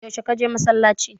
Yaushe ka je masallaci?